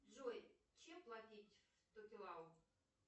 джой чем платить в токелау